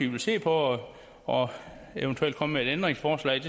vil se på og og så eventuelt komme med et ændringsforslag